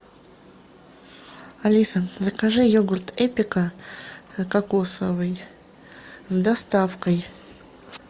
алиса закажи йогурт эпика кокосовый с доставкой